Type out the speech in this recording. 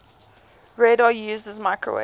radar uses microwave